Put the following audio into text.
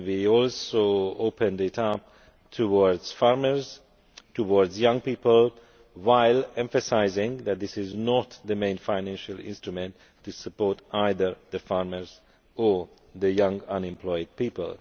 We also opened it up towards farmers, towards young people, while emphasising that this is not the main financial instrument for supporting either farmers or young unemployed people.